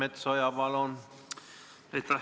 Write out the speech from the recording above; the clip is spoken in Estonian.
Andres Metsoja, palun!